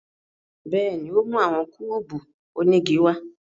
Bẹ́ẹ̀ni, o mu awọn kúbú onigi wa